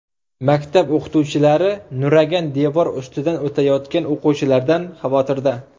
Maktab o‘qituvchilari nuragan devor ustidan o‘tayotgan o‘quvchilardan xavotirda.